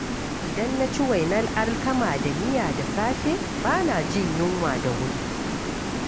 Idan na ci wainar alkama da miya da safe, bana jin yunwa da wuri.